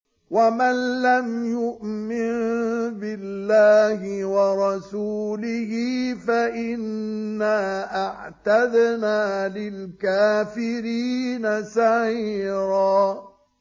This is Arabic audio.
وَمَن لَّمْ يُؤْمِن بِاللَّهِ وَرَسُولِهِ فَإِنَّا أَعْتَدْنَا لِلْكَافِرِينَ سَعِيرًا